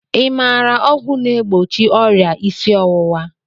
I maara ọgwụ na-egbochi ọrịa isi ọwụwa?